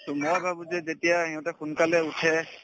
to মই ভাবো যে যেতিয়া ইহঁতে সোনকালে উঠে